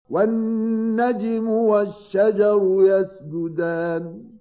وَالنَّجْمُ وَالشَّجَرُ يَسْجُدَانِ